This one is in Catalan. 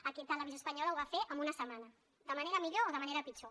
aquí televisió espanyola ho va fer en una setmana de manera millor o de manera pitjor